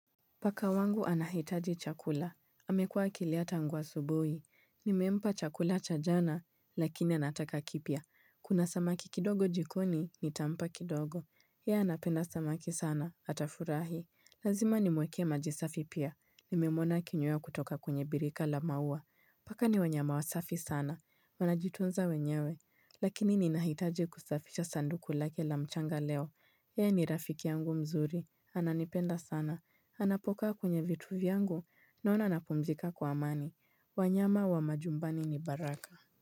Paka wangu anahitaji chakula. Amekua akilia tangu asubuhi. Nimempa chakula cha jana, lakini anataka kipya. Kuna samaki kidogo jikoni, nitampa kidogo. Yea anapenda samaki sana, atafurahi. Lazima nimweke majisafi pia. Nimemwona akinywea kutoka kwenyebirika la mauwa. Paka ni wanyama wasafi sana. Wanajitunza wenyewe. Lakini ninahitaji kusafisha sanduku lake la mchanga leo. Yeye ni rafiki yangu mzuri. Ananipenda sana. Anapoka kwenye vitu vyangu naona napumzika kwa amani wanyama wa majumbani ni baraka.